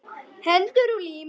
Hendur og lim.